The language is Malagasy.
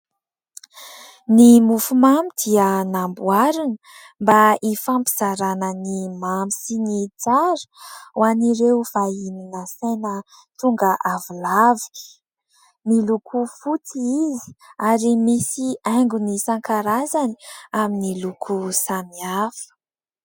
Ny mofomamy dia namboarina mba hifampizarana ny mamy sy ny tsara ho an'ireo vahiny nasaina tonga avolavy ; miloko fotsy izy ary misy haingony isankarazany amin'ny loko samihafa.